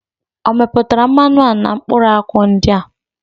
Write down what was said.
O meputara mmanu a na mkpuru akwu ndi a?